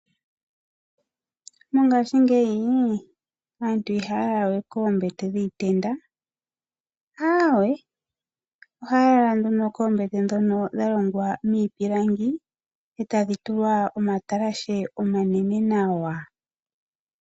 Mongashingeyi aantu ihaya lala we koombete dhiitenda, ohaya lala koombete ndhono dha ningwa miipilangi e tadhi tulwa omatalashe omanene nawa.